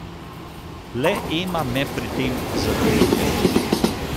Le Ema me pri tem zadržuje ...